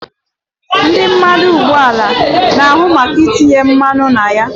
Ndị mmanụ ụgbọelu na ahu maka itinye mmanụ na ya